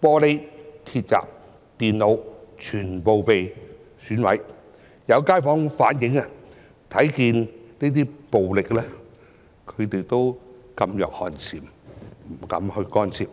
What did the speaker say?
玻璃、鐵閘、電腦全部均被毀壞，有街坊反映這些暴力令他們噤若寒蟬，不敢干涉。